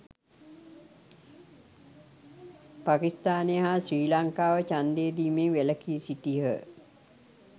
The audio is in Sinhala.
පකිස්ථානය හා ශ්‍රී ලංකාව ඡන්දය දීමෙන් වැලකී සිටියහ